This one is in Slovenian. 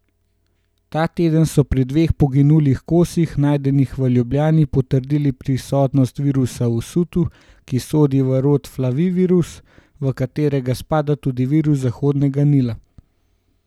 Ta teden so pri dveh poginulih kosih, najdenih v Ljubljani, potrdili prisotnost virusa usutu, ki sodi v rod Flavivirus, v katerega spada tudi virus Zahodnega Nila.